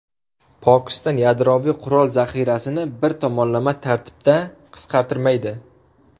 Pokiston yadroviy qurol zaxirasini bir tomonlama tartibda qisqartirmaydi.